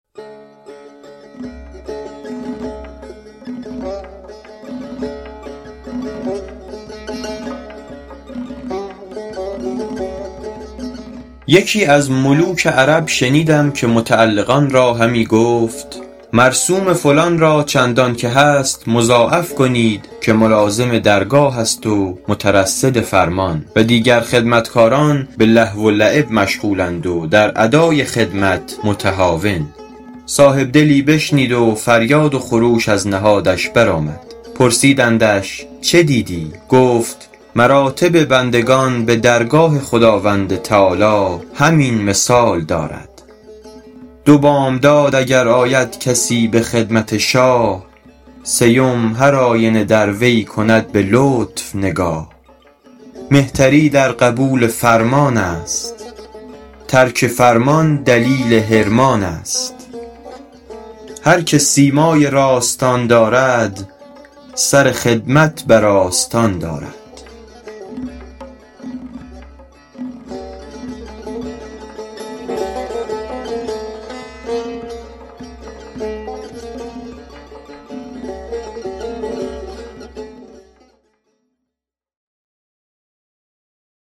یکی از ملوک عرب شنیدم که متعلقان را همی گفت مرسوم فلان را چندان که هست مضاعف کنید که ملازم درگاه است و مترصد فرمان و دیگر خدمتکاران به لهو و لعب مشغول اند و در ادای خدمت متهاون صاحب دلی بشنید و فریاد و خروش از نهادش بر آمد پرسیدندش چه دیدی گفت مراتب بندگان به درگاه خداوند تعالیٰ همین مثال دارد دو بامداد اگر آید کسی به خدمت شاه سیم هرآینه در وی کند به لطف نگاه مهتری در قبول فرمان است ترک فرمان دلیل حرمان است هر که سیمای راستان دارد سر خدمت بر آستان دارد